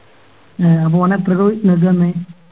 A അപ്പൊ ഒനേത്രക്ക ഇങ്ങക്ക് തന്നെ